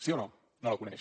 sí o no no la coneix